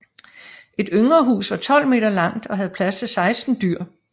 Et yngre hus var 12 m langt og havde plads til 16 dyr